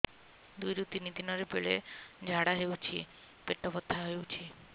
ଦୁଇରୁ ତିନି ଦିନରେ ବେଳେ ଝାଡ଼ା ହେଉଛି ପେଟ ବଥା ହେଉଛି